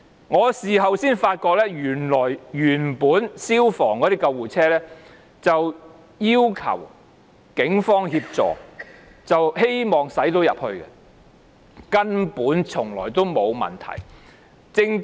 我事後才知道，原本消防處的救護車要求警方協助，希望能夠駛進去，根本從來沒有問題。